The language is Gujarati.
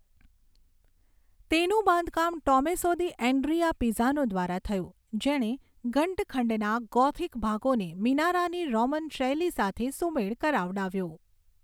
તેનું બાંધકામ ટોમૅસો દી ઍન્ડ્રીઆ પીઝાનો દ્વારા થયું, જેણે ઘંટખંડના ગોથીક ભાગોને મિનારાની રોમન શૈલી સાથે સુમેળ કરાવડાવ્યો.